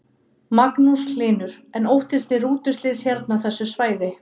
Magnús Hlynur: En óttist þið rútuslys hérna á þessu svæði?